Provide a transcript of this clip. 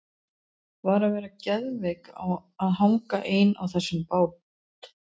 Var að vera geðveik að hanga ein á þessum bát!